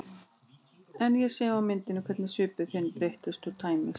En ég sé á myndum hvernig svipur þinn breytist og tæmist.